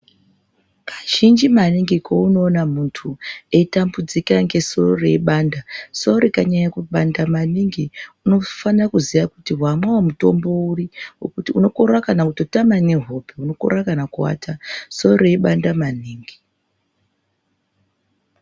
Kazhinji maningi paunoona munthu eitambudzika ngesoro reipanda soro rikanyanya kupanda maningi unofana kutoziya kuti wamwao mutombo uri nekuti unokorera kana kutotame nehope wokorera kana kuwata soro reipanda maningi.